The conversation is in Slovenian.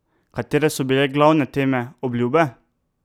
Katere so bile glavne teme, obljube?